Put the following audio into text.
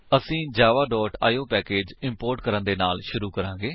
ਅਸੀ Java IO package import ਕਰਨ ਦੇ ਨਾਲ ਸ਼ੁਰੂ ਕਰਾਂਗੇ